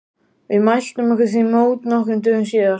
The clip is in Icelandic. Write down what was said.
Við mæltum okkur því mót nokkrum dögum síðar.